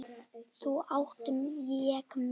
Nú átti ég mig.